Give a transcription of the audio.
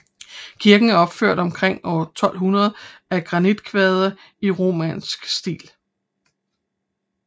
Kirken er opført omkring år 1200 af granitkvadre i romansk stil